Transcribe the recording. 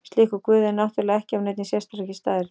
Slíkur guð er náttúrulega ekki af neinni sérstakri stærð.